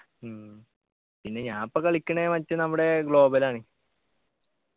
ഉം പിന്നെ ഞാന് പ്പോ കളിക്കണ് മറ്റ് നമ്മുടെ global ആണ്